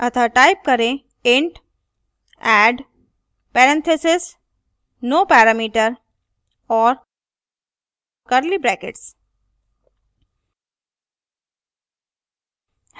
अतः type करें int add parentheses no parameter और curly brackets